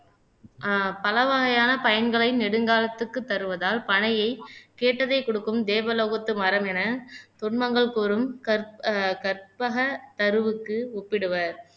ஆஹ் பல வகையான பயன்களை நெடுங்காலத்துக்கு தருவதால் பனையை கேட்டதை கொடுக்கும் தேவலோகத்து மரம் என துன்பங்கள் கூறும் கற் ஆஹ் கற்பக தருவிற்கு ஒப்பிடுவர்